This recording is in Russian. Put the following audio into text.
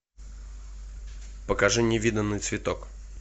покажи невиданный цветок